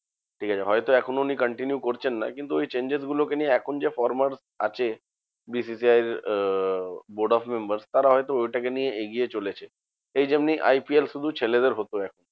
ঠিকাছে হয়তো এখন উনি continue করছেন না, কিন্তু ওই changes গুলোকে নিয়ে এখন যা former আছে BCCI র আহ board of members তারা হয়তো ওইটাকে নিয়ে এগিয়ে চলেছে। এই যেমনি IPL শুধু ছেলেদের হতো